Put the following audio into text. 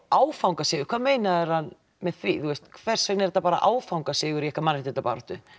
áfangasigur hvað meinar hann með því hversvegna er þetta bara áfangasigur í ykkar mannréttindabaráttu